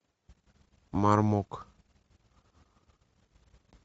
мармок